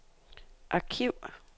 arkiv